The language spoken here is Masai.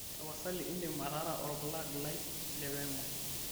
tapasali indim atara orpulag lai lewemo